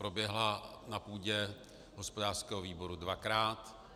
Proběhla na půdě hospodářského výboru dvakrát.